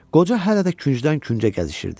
Qoca hələ də küncdən küncə gəzişirdi.